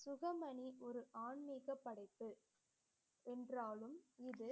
சுகமணி ஒரு ஆன்மீக படைப்பு என்றாலும் இது